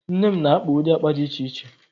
Nne m na-akpa ụdị akpa dị iche iche